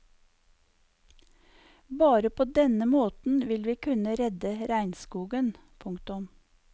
Bare på denne måten vil vi kunne redde regnskogen. punktum